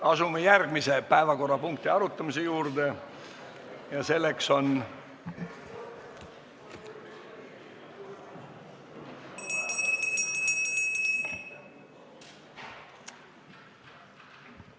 Asume järgmise päevakorrapunkti arutamise juurde ja selleks on ...